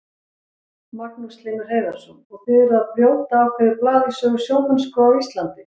Magnús Hlynur Hreiðarsson: Og þið eruð að brjóta ákveðið blað í sögu sjómennsku á Íslandi?